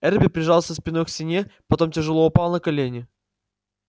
эрби прижался спиной к стене потом тяжело упал на колени